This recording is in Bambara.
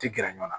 Ti gɛrɛ ɲɔn na